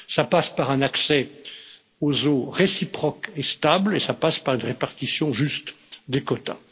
Ça passe par un accès aux eaux réciproque et stable, et ça passe par une répartition juste des quotas.